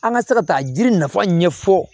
An ka se ka taa jiri nafa ɲɛfɔ